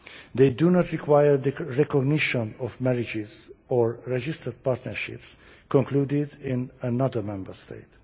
They do not require recognition of marriages or registered partnerships concluded in another Member State.